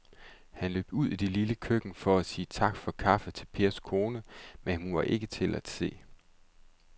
Han løb ud i det lille køkken for at sige tak for kaffe til Pers kone, men hun var ikke til at se.